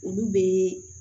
Olu bɛ